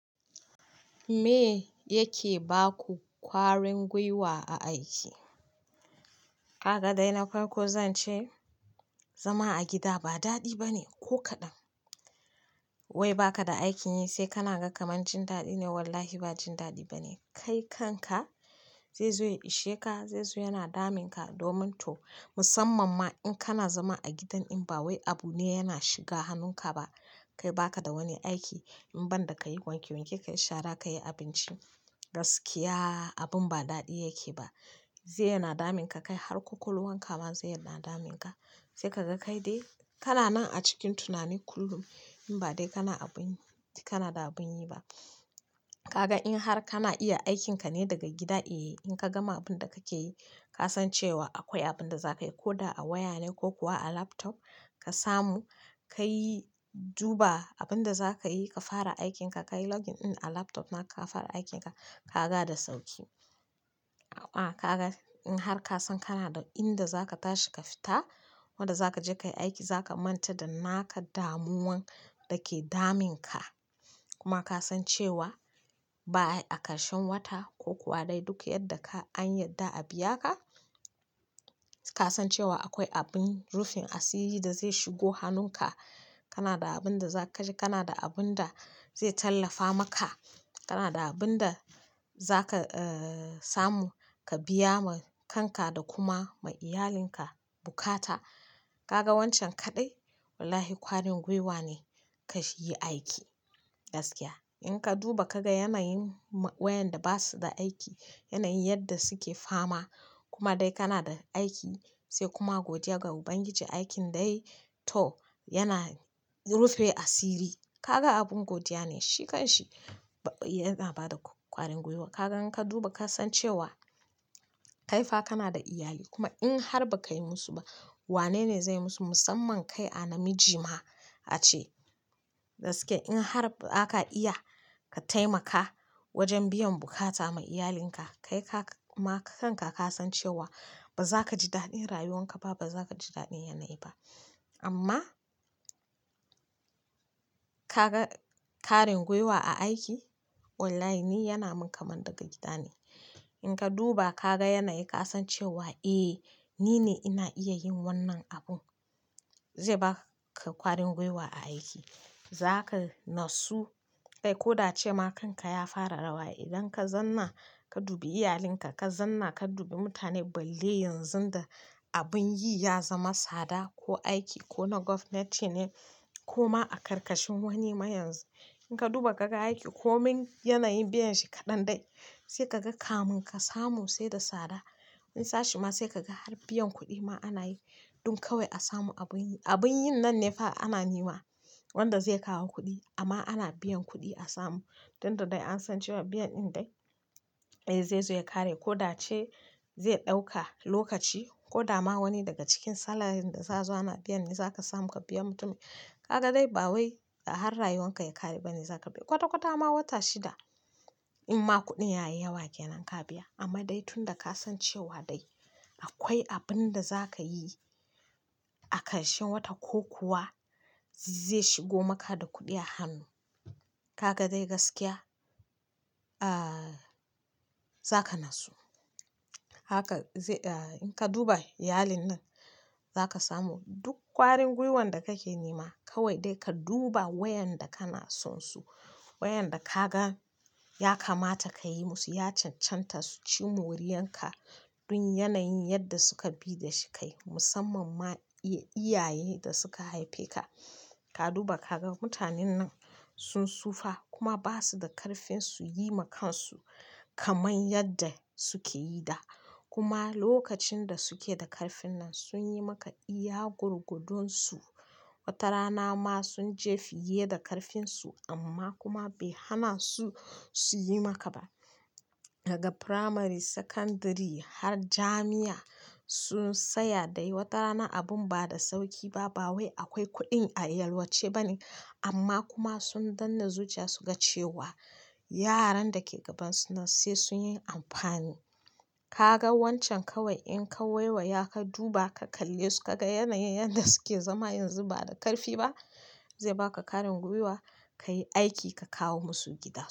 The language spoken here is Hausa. Me yake baku ƙwarin guiwa a aiki? Kaga dai na farko zan ce zama a gida ba daɗi bane ko kaɗan. Wai baka da aikin yi sai kana gan kamancin daɗi ne? Wallahi ba jin daɗi bane. Kai kanka zai zo ya ishe ka, zai zo yana damunka. Musamman ma in kana zama a gidan in ba wai abu ne yana shiga hannunka ba. Kai baka da wani aiki in banda kayi wanke wanke kayi shara kayi abinci, gaskiya abun ba daɗi yake ba zai yana damunka kai har ƙwaƙwalwanka ma zaiyi yana damunka sai kaga kaidai kananan a cikin tunani kullum inba dai kana abun, kanada abunyi ba kaga in har kana iya aikin ka ne daga gida eh in kagama abunda kakeyi kasan cewa akwai abunda zakayi ko a waya ne ko a laptop. Ka samu, ka yi duba abin da za ka yi, ka fara aikinka, ka yi login in a laptop naka ka fara aikinka ka ga da sauƙi. In har kasan kanada inda zaka tashi kafita inda zakaje kayi aiki zaka manta da naka damuwan dake damunka kuma ka san cewa ba a ƙarshen wata ko kuwa dai duk yarda an yarda a biya ka, ka san cewa akwai abin rufin asiri da zai shigo hannunka. Kana da abin da za ka ci, kana da abin da zai tallafa maka, kana da abin da za ka samu ka biya ma kanka da kuma ma iyalinka buƙata. Kaga wancan kaɗai wallahi ƙwarin guiwa ne ka shigi aiki. Gaskiya in ka duba ka ga yanayin wayanda ba su da aiki, yanayin yadda suke fama kuma dai kana da aiki sai kuma godiya ga ubangiji aikin dai to yana rufe asiri. Kaga abin godiya ne, shi kanshi yana bada ƙwarin guiwa. Kagan ka duba ka san cewa kaifa kana da iyali kuma in har ba ka yi musu ba wanene zai musu? Musamman kai a namiji ma ace. Da shike in har baka iya ka taimaka wajen biya buƙata ma iyalinka, kai ma kanka kasan cewa bazakaji daɗin rayuwarka ba, bazakaji daɗin yanayin ba amma ka ga ƙwarin guiwa a aiki online yana min kamun daga gida ne. In ka duba ka ga yanayi ka san cewa "Eh ni ne ina iya yin wannan abun" zai baka ƙwarin guiwa a aiki. Zaka natsu kai ko da ce ma kanka ya fara rawa idan ka zanna ka dubi iyalinka, ka zanna ka dubi mutane balle yanzu da abin yi ya zama tsada ko aiki ko na gwamnati ne ko ma a ƙarƙashin wani ma yanzu in ka duba ka ga aiki komin yanayin biyan shi kaɗan dai sai ka ga kamun ka samu sai da tsada. Wani sashe ma sai ka ga har biyan kuɗi ma ana yi duk kawai a samu abin yi. Abin yin nan ne fa ana nema wanda zai kawo kuɗi amma ana biyan kuɗi a samu. Tunda dai an san cewa biyan in dai zai zo ya ƙare ko da ya ce zai ɗauka lokaci ko da ma wani daga cikin salarin da za su zo ana biyan mi za ka samu ka biya mutumin. Kaga dai ba wai har rayuwan ka ya ƙare bane za ka biya. Kwata kwata ma wata shida in ma kuɗin ya yi yawa ke nan ka biya. Amma dai tunda ka san cewa dai akwai abin da za ka yi a ƙarshen wata ko kuwa zai shigo maka da kuɗi a hannu. Kaga dai gaskiya ah, za ka natsu. Haka in ka duba iyalin nan za ka samu duk ƙwarin guiwan da kake nema kawai dai ka duba wayanda kana son su. Wayanda ka gan ya kamata ka yi musu, ya cancanta su ci moriyan ka dun yanayin yadda suka bi da shi kai. Musamman ma iyaye da suka haife ka. Ka duba ka ga mutanen nan sun tsufa kuma ba su da ƙarfin su yi ma kansu kamar yadda suke yi da. Kuma lokacin da sukeda ƙarfin nan sunyimaka iya gwargwadon su wata rana ma sun je fiye da ƙarfinsu amma kuma bai hana su, su yi maka ba. Daga primary, secondary har jami'a sun tsaya dai wata rana abin ba da sauƙi ba. Ba wai akwai kuɗin a yalwace ba ne amma kuma sun danne zuciya su ga cewa yaran da ke gabansu nan sai su yi amfani. Kaga wancan kawai inka waiwaya ka duba ka kallesu kaga yanayin yanda suke zama yanzu bada ƙarfi ba, zai baka ƙwarin gwiwa kayi aiki ka kawomasu gida.